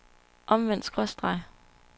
omvendt skråstreg